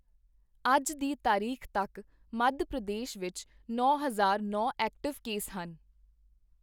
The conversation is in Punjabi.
ਅੱਜ ਦੀ ਤਾਰੀਖ਼ ਤੱਕ ਮੱਧ ਪ੍ਰਦੇਸ਼ ਵਿੱਚ ਨੌ ਹਜ਼ਾਰ ਨੌ ਐਕਟਿਵ ਕੇਸ ਹਨ।